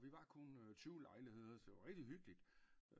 Og vi var kun tyve lejligheder så det var rigtig hyggeligt